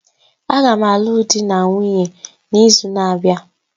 Agam alụọ di na nwunye n'izu na-abịa